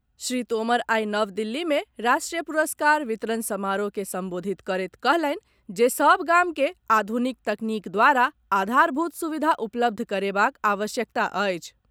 श्री तोमर आई नव दिल्ली मे राष्ट्रीय पुरस्कार वितरण समारोह के संबोधित करैत कहलनि जे सभ गाम के आधुनिक तकनीक द्वारा आधारभूत सुविधा उपलब्ध करेबाक आवश्यकता अछि।